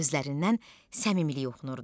Gözlərindən səmimilik oxunurdu.